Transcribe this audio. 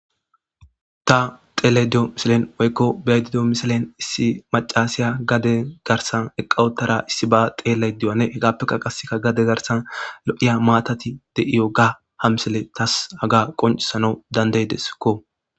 ta xelayida diyo misilen woykko beyida diyo misilen issi macasiya gade garsan eqawotara issi ba xelaydiyane hegappeka qasseka gade garsan lo'iya maatati de'iyoga hamsele tas haga qoncisanaw dandeydeskko